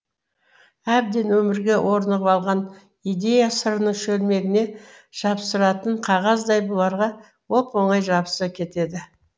әбден өмірге орнығып алған идея сыраның шөлмегіне жапсыратын қағаздай бұларға оп оңай жабыса кетеді